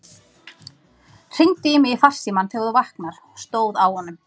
Hringdu í mig í farsímann þegar þú vaknar, stóð á honum.